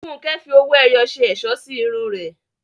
Funke fi owó ẹyọ ṣe ẹ̀ṣọ́ sí irun rẹ̀.